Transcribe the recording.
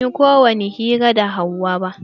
Ban yi ko wani hira da Hauwa ba.